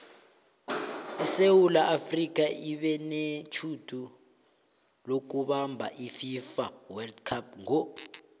isewula afrika ibenetjhudu lokubamab ififa wold cup ngo